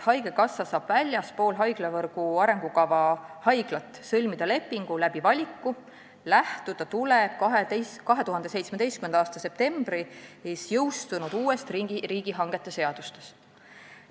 Haigekassa saab väljaspool haiglavõrgu arengukava haiglaid valiku teel lepinguid sõlmida, kuid lähtuda tuleb 2017. aasta septembris jõustunud uuest riigihangete seadusest.